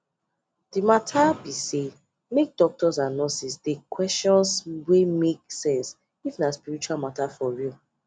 the matter be saymake doctors and nurses dey questions wey make sense if na spirtual matter for real